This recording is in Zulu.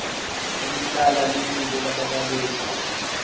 elihlala limile lababaleki